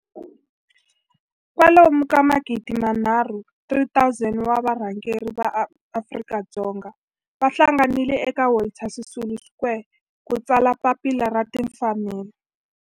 kwalomu ka magidi nharhu, 3 000 wa varhangeri va maAfrika-Dzonga va hlanganile eka Walter Sisulu Square ku ta tsala Papila ra Tinfanelo.